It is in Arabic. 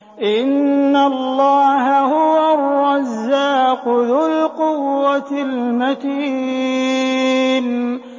إِنَّ اللَّهَ هُوَ الرَّزَّاقُ ذُو الْقُوَّةِ الْمَتِينُ